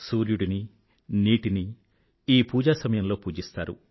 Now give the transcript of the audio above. సూర్యుడినీ నీటినీ ఈ పూజా సమయంలో పూజిస్తారు